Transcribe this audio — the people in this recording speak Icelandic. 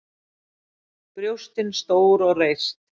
Brjóstin stór og reist.